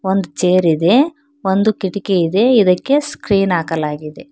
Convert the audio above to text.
ಒಂದು ಚೇರ್ ಇದೆ ಒಂದು ಕಿಟಕಿ ಇದೆ ಇದಕ್ಕೆ ಸ್ಕ್ರೀನ್ ಹಾಕಲಾಗಿದೆ.